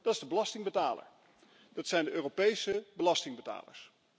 Dat is de belastingbetaler, dat zijn de Europese belastingbetalers.